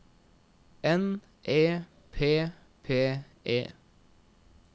N E P P E